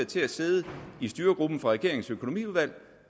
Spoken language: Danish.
til at sidde i styregruppen for regeringens økonomiudvalg